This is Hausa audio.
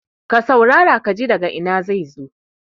ka saurara ka ji daga Ina zai zo?